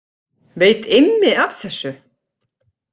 Veit Immi af þessu?